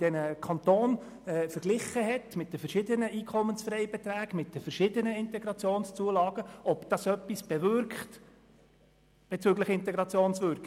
In dieser wurde verglichen, ob die unterschiedlichen EFB und IZU in den Kantonen etwas bezüglich Integration bewirken.